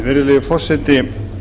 virðulegi forseti